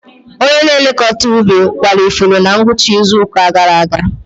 Onye na-elekọta ubi kwara ifuru na ngwụcha izu ụka gara aga.